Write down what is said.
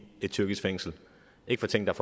et tyrkisk fængsel ikke for ting der